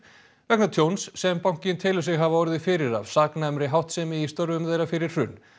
vegna tjóns sem bankinn telur sig hafa orðið fyrir af saknæmri háttsemi í störfum þeirra fyrir hrun